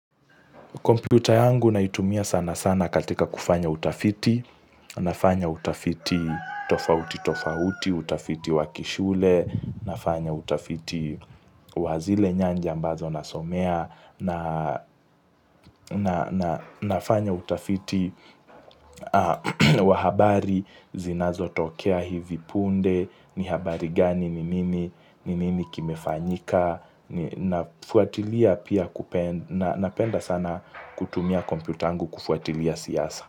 Kompyuta yangu naitumia sana sana katika kufanya utafiti, nafanya utafiti tofauti-tofauti, utafiti wakishule, nafanya utafiti wazile nyanja ambazo nasomea, nafanya utafiti wa habari zinazotokea hivi punde, ni habari gani ni mimi, ni nini kimefanyika. Napenda sana kutumia kompyuta yangu kufuatilia siasa.